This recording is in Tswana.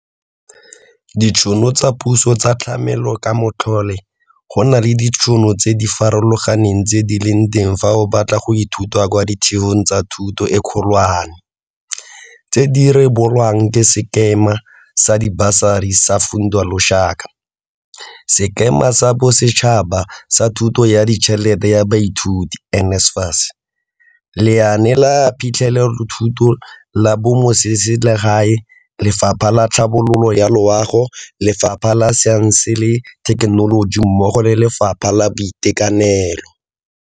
Ditšhono tsa puso tsa tlamelokamatlole Go na le ditšhono tse di farologaneng tse di leng teng fa o batla go ithuta kwa ditheong tsa thuto e kgolwane, tse di rebolwang ke Sekema sa Dibasari sa Funza Lushaka, Sekema sa Bosetšhaba sa Thuso ya Ditšhelete ya Baithuti NSFAS, Lenaane la Phitlhelelothuto la Bamotseselegae, Lefapha la Tlhabololo ya Loago, Lefapha la Saense le Thekenoloji mmogo le Lefapha la Boitekanelo.